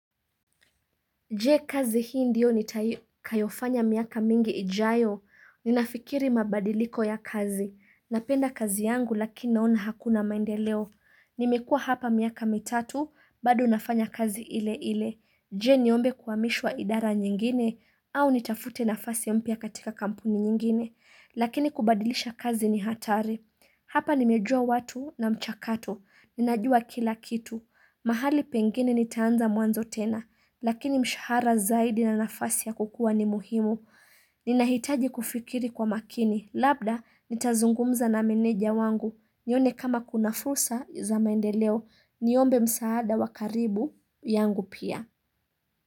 Je kazi hii ndiyo nitakayofanya miaka mingi ijayo, ninafikiri mabadiliko ya kazi, napenda kazi yangu lakini naona hakuna maendeleo, nimekua hapa miaka mitatu, bado nafanya kazi ile ile, je niombe kuhamishwa idara nyingine, au nitafute nafasi mpya katika kampuni nyingine, lakini kubadilisha kazi ni hatari, hapa nimejua watu na mchakato, ninajua kila kitu, mahali pengine nitaanza mwanzo tena, Lakini mshahara zaidi na nafasi ya kukua ni muhimu Ninahitaji kufikiri kwa makini Labda nitazungumza na meneja wangu nione kama kuna fursa za maendeleo Niombe msaada wa karibu yangu pia.